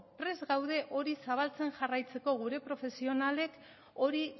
prest gaude hori zabaltzen jarraitzeko gure profesionalek hori